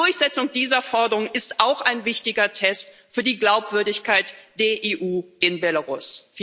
Die Durchsetzung dieser Forderung ist auch ein wichtiger Test für die Glaubwürdigkeit der EU in Belarus.